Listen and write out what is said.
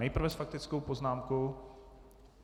Nejprve s faktickou poznámkou.